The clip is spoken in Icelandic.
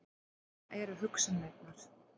Svona eru hugsanirnar.